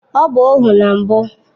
Ọ bụ ohu na mbụ